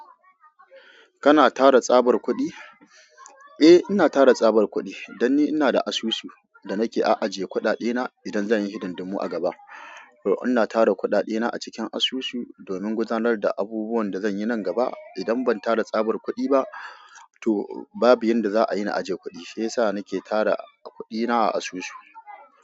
Kana tara tsabar kuɗi? Eh, ina tara tsabar kuɗi dan ni ina da asusu da nake a aje kuɗaɗe idan zan yi hidindumu a gaba. To ina tara kudadena a cikin asusu domin gudanar da abubuwan da zan yi nan gaba. Idan ban tara tsabar kuɗi ba, to babu yanda za a yi na aje kuɗi shiyasa nike tara kuɗi na a asusu.